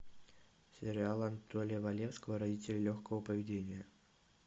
сериал анатолия валевского родители легкого поведения